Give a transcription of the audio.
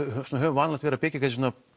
höfum vanalega verið að byggja svona